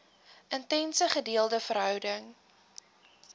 intense gedeelde verhouding